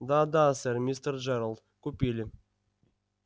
да да сэр мистер джералд купили